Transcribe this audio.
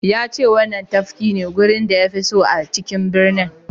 Ya ce wannan tafki ne wurin da ya fi so a cikin birnin.